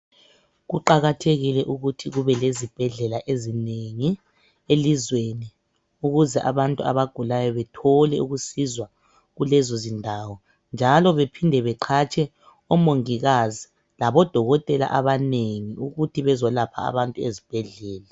Kuqakathekile ukuthi kubelezibhedlela ezinengi elizweni ukuze abantu abagulayo bethole ukusizwa kulezondawo njalo bephinde beqhatshe omongikazi labodokotela abanengi ukuthi bezolapha abantu ezibhedlela.